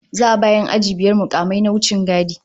Za'a ba 'yan aji biyar mukamai na wichingadi